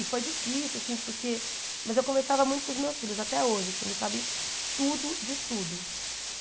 E foi difícil, assim porque mas eu conversava muito com os meus filhos até hoje assim, eles sabem tudo de tudo.